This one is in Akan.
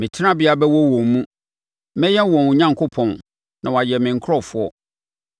Me tenabea bɛwɔ wɔn mu, mɛyɛ wɔn Onyankopɔn na wɔayɛ me nkurɔfoɔ.